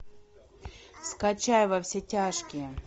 скачай во все тяжкие